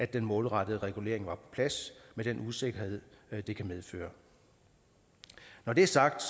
den målrettede regulering er på plads med den usikkerhed det kan medføre når det er sagt